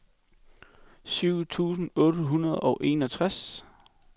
syv tusind otte hundrede og enogtres